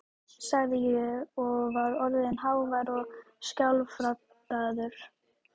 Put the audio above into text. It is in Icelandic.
sagði ég, og var orðinn hávær og skjálfraddaður.